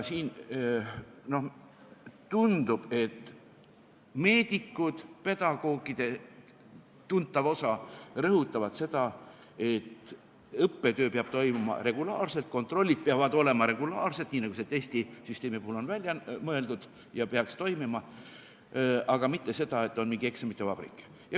Siin tundub, et meedikud ja pedagoogide tuntav osa rõhutavad seda, et õppetöö peab toimuma regulaarselt, kontrollid peavad olema regulaarsed, nii nagu see testisüsteemi puhul on välja mõeldud ja peaks toimima, aga mitte seda, et on mingi eksamite vabrik.